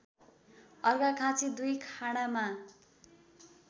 Arghakhanchi २ खाँडामा